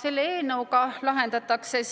Selle eelnõuga laiendatakse